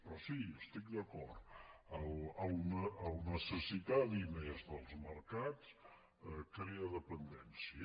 però sí hi estic d’acord necessitar diners dels mercats crea dependència